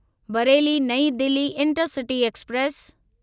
Bareilly Nai Delhi intercity express